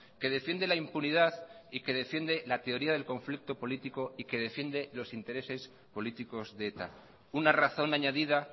que defiende la impunidad y que defiende la teoría del conflicto político y que defiende los intereses políticos de eta una razón añadida